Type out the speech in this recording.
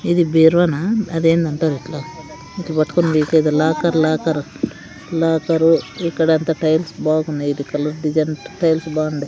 ఇది బీరువాన అదేందంటారు ఇక్కడ ఇట్ట పట్టుకుని తీసేది లాకర్ లాకర్ లాకరు ఇక్కడ అంతా టైల్స్ బాగున్నాయి ఈటి కలర్ డిజైన్ టైల్స్ బాగుండాయి.